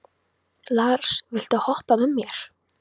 Lars, viltu hoppa með mér?